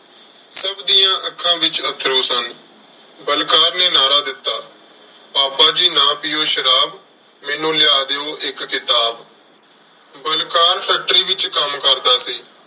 ਸਭ ਦੀਆਂ ਅੱਖਾਂ ਵਿੱਚ ਅੱਥਰੂ ਸਨ। ਬਲਕਾਰ ਨੇ ਨਾਅਰਾ ਦਿੱਤਾ, ਪਾਪਾ ਜੀ ਨਾ ਪੀਉ ਸ਼ਰਾਬ, ਮੈਨੂੰ ਲਿਆ ਦਿਉ ਇੱਕ ਕਿਤਾਬ। ਬਲਕਾਰ factory ਵਿੱਚ ਕੰਮ ਕਰਦਾ ਸੀ।